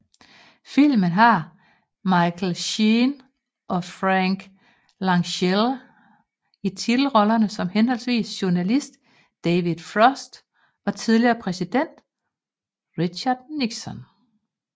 Filmen har Michael Sheen og Frank Langella i titelrollerne som henholdsvis journalist David Frost og tidligere præsident Richard Nixon